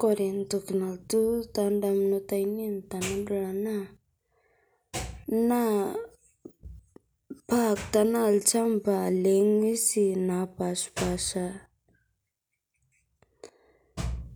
Kore ntokii nalotuu ta ndamunot anien tanadol ana naa paat tana lchambaa le nwuesi napashpaasha.